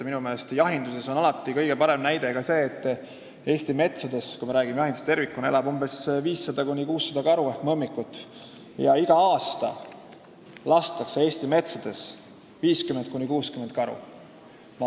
Minu meelest on jahindusest tervikuna rääkides kõige parem näide see, et Eesti metsades elab 500–600 karu ehk mõmmikut ja iga aasta lastakse Eesti metsades 50–60 karu.